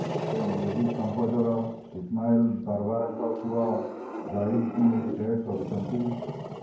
ସେ music composer Ismail ଦରବାରଙ୍କ ପୁଅ ଜୈଦଙ୍କୁ ଡେଟ୍ କରୁଛନ୍ତି